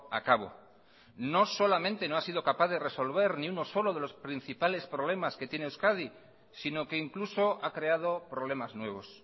a cabo no solamente no ha sido capaz de resolver ni uno solo de los principales problemas que tiene euskadi sino que incluso ha creado problemas nuevos